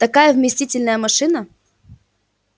такая вместительная машина